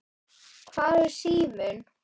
Hvar er síminn?